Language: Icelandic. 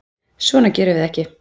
Svona gerum við ekki.